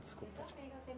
Desculpe.